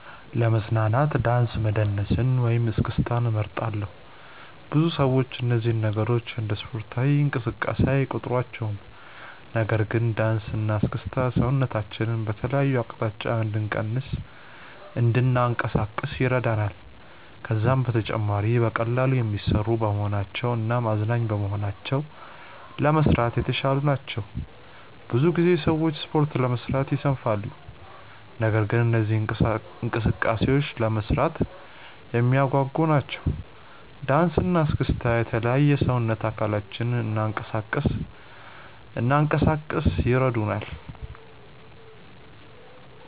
ለመዝናናት ዳንስ መደነስን ወይም እስክስታን እመርጣለሁ። ብዙ ሰዎች እነዚህን ነገሮች እንደ ስፖርታዊ እንቅስቃሴ አይቆጥሯቸውም። ነገር ግን ዳንስ እና እስክስታ ሰውነታችንን በተለያዩ አቅጣጫዎች እንድናንቀሳቅስ ይረዳናል። ከዛም በተጨማሪ በቀላሉ የሚሰሩ በመሆናቸው እናም አዝናኝ በመሆናቸው ለመስራት የተሻሉ ናቸው። ብዙ ጊዜ ሰዎች ስፖርት ለመስራት ይሰንፋሉ። ነገር ግን እነዚህ እንቅስቃሴዎች ለመስራት የሚያጓጉ ናቸው። ዳንሰ እና እስክስታ የተለያዩ የሰውነት አካላችንን እንናንቀሳቀስ ይረዱናል።